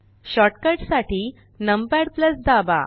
short cut साठी numpad दाबा